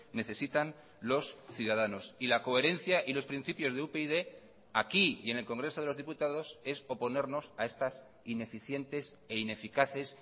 necesitan los ciudadanos y la coherencia y los principios de upyd aquí y en el congreso de los diputados es oponernos a estas ineficientes e ineficaces